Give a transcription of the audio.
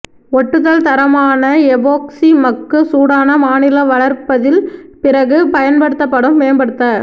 ஒட்டுதல் தரமான எபோக்சி மக்கு சூடான மாநில வளர்ப்பதில் பிறகு பயன்படுத்தப்படும் மேம்படுத்த